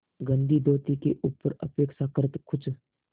गंदी धोती के ऊपर अपेक्षाकृत कुछ